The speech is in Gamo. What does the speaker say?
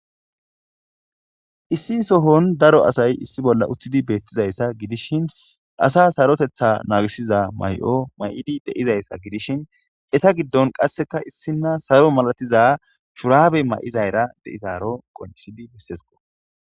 Issi sohon daro asay issi bolla uththidi beettizayssa gidishin asa sarotetha naagisiza may7o may7idi deizayssa gidishin eta giddon qasseka issina saro malatiza shuraabe ma7izayra deizaaro qoncishidi bessesko.